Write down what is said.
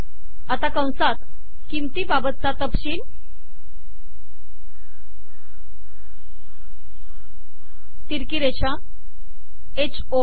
आता कंसात किंमतीबाबतचा तपशील तिरकी रेषा ह ओळ